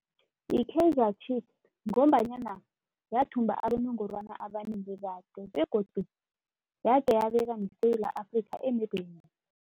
Yi-Kaizer Chiefs ngombanyana yathumba abonongorwana abanengi kade begodu yabeka iSewula Afrika emebheni.